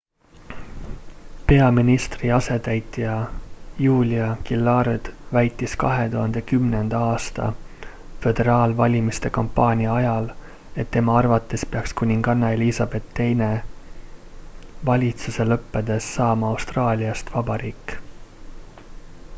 peaministri asetäitja julia gillard väitis 2010 aasta föderaalvalimiste kampaania ajal et tema arvates peaks kuninganna elizabeth ii valitsuse lõppedes saama austraaliast vabariik